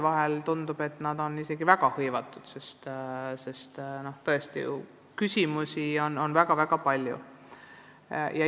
Vahel tundub, et need spetsialistid on ülimalt hõivatud, sest tõesti, probleeme on väga-väga palju.